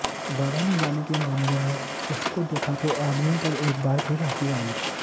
वादा निभाने के मामले में उसको देखा तो आदमियों पर एक बार फिर हंसी आई